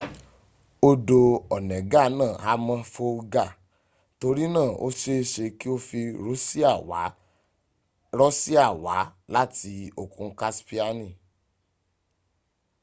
odo onega naa ha mo folga tori na o seese ki o fi rosia wa lati okun kaspiani